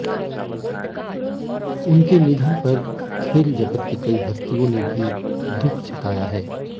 उनके निधन पर खेल जगत की कई हस्तियों ने भी दुख जताया है